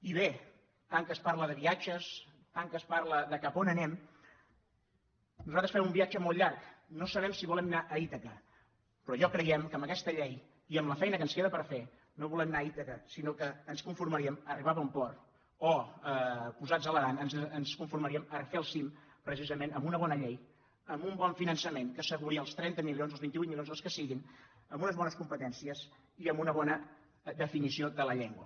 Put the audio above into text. i bé tant que es parla de viatges tant que es parla de cap a on anem nosaltres fem un viatge molt llarg no sabem si volem anar a ítaca però creiem que amb aquesta llei i amb la feina que ens queda per fer no volem anar a ítaca sinó que ens conformaríem a ar·ribar a bon port o posats a l’aran ens conformaríem a fer el cim precisament amb una bona llei amb un bon finançament que asseguri els trenta milions els vint vuit milions els que siguin amb unes bones competències i amb una bona definició de la llengua